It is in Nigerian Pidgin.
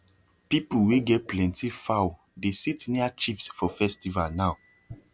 people wey get plenty fowl dey sit near chiefs for festival now